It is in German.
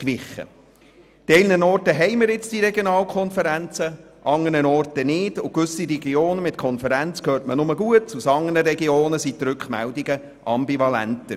An einigen Orten haben wir nun Regionalkonferenzen, an anderen nicht, und aus gewissen Regionen mit Konferenz hört man nur Gutes, aus anderen sind die Rückmeldungen ambivalent.